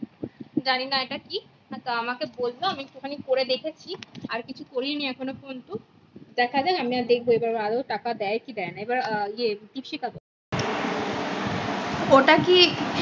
জানি না এটা কি তা আমাকে বললো আমি একটু খানি করে দেখেছি আর কিছু করিনি এখন ও পর্যন্ত দেখা যাক আমি আবার দেখবো ওটা তে আদোও টাকা দেয় কি দেয় না এবার এ দ্বীপশিখা বল ওটা কি?